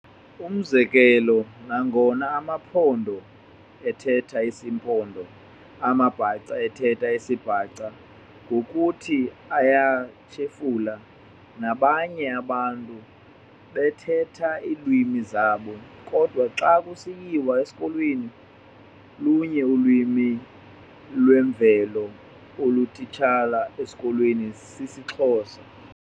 Umzekelo- nangona amaMpondo ethetha isiMpondo, amaBhaca ethetha isiBhaca ngokuthi ayatshefula, nabanye abantu bethatha iilwimi zabo, kodwa xa kusiyiwa esikolweni, lunye ulwimi lwemveli olutitshwa ezikolweni, sisiXhosa.